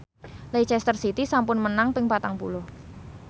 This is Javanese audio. Leicester City sampun menang ping patang puluh